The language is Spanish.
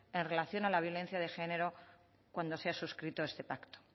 en relación a la violencia de género cuando se ha suscrito este pacto